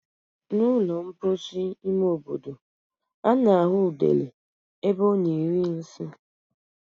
N' ụlọ mposi ime obodo, a na-ahụ udele ebe ọ na-eri nsị.